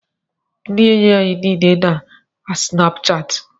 Ndị enyi anyị niile nọ na Snapuchati.